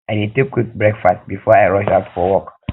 i dey take quick breakfast before i rush out for work